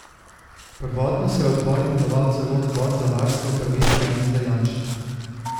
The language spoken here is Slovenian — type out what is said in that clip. Prvotno se je odbor imenoval celo Odbor za varstvo pravic Janeza Janše.